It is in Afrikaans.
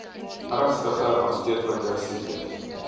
ernstige aansteeklike siektes